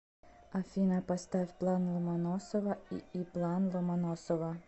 афина поставь план ломоносова ии план ломоносова